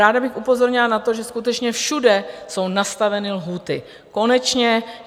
Ráda bych upozornila na to, že skutečně všude jsou nastaveny lhůty, konečně.